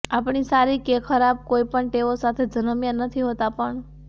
આપણી સારી કે ખરાબ કોઈ પણ ટેવો સાથે જન્મ્યા નથી હોતા પણ